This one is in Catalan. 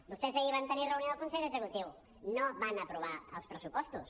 vostès ahir van tenir reunió del consell executiu no van aprovar els pressupostos